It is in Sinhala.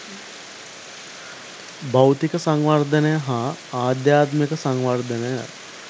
භෞතික සංවර්ධනය හා ආධ්‍යාත්මික සංවර්ධනය